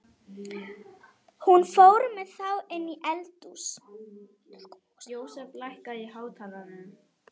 Hún fór með þá inní eldhús.